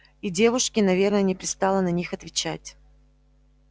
и девушке наверное не пристало на них отвечать